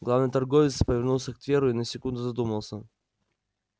главный торговец повернулся к тверу и на секунду задумался